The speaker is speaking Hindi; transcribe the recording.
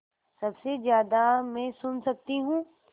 सबसे ज़्यादा मैं सुन सकती हूँ